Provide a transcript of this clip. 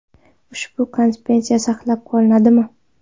Ushbu konsepsiya saqlab qolinadimi?